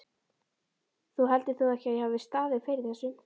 Þú heldur þó ekki, að ég hafi staðið fyrir þessu?